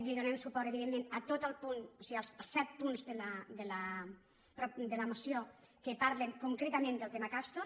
li donem suport evidentment a tot el punt o sigui els set punts de la moció que parlen concretament del te·ma castor